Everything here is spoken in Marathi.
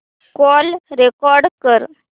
कॉल रेकॉर्ड कर